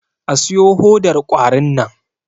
A siyo hodar kwarin nan!